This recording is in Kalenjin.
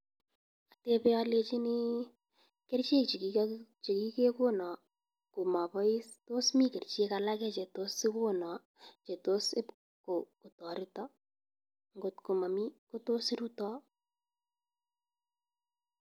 Atebe alechini, kerichek chekiga chekigegono ko mabois, tos mi kerichek alak che tos igono che tos ib ko kotoreto? Ngotko mami, ko tos iruto?